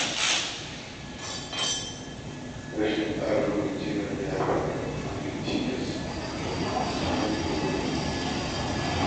Rashin tsara lokaci ya na iya haifar da matsaloli da cikas a cikin ayyukan yau da kullum.